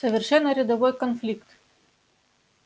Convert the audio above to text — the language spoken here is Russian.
совершенно рядовой конфликт